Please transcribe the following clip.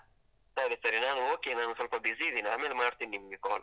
ಸರಿ ಸರಿ, ನಾನು okay ನಾನು ಸ್ವಲ್ಪ busy ಇದ್ದೀನಿ ಆಮೇಲೆ ಮಾಡ್ತೀನಿ ನಿಮ್ಗೆ call.